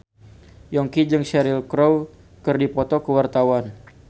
Yongki jeung Cheryl Crow keur dipoto ku wartawan